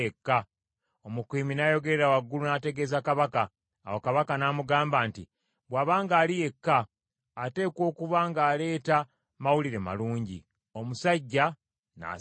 Omukuumi n’ayogerera waggulu n’ategeeza kabaka. Awo kabaka n’amugamba nti, “Bw’aba ng’ali yekka ateekwa okuba ng’aleeta mawulire malungi.” Omusajja n’asembera.